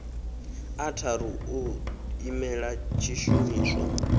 a tharu ḓo imela tshishumiswa